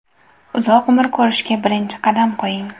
Uzoq umr ko‘rishga birinchi qadam qo‘ying!.